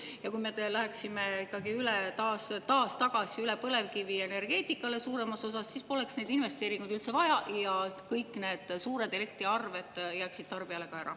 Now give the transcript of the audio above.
Ja kui me läheksime ikkagi suuremas osas tagasi üle põlevkivienergeetikale, siis poleks neid investeeringuid üldse vaja ja kõik need suured elektriarved tarbijale jääksid ka ära.